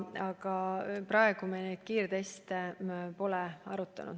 Aga praegu me kiirtestide kasutuselevõttu pole arutanud.